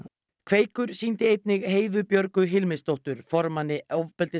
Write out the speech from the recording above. kveikur sýndi einnig Heiðu Björgu formanni